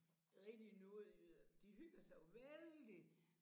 Rigtige nordjyder de hygger sig jo vældigt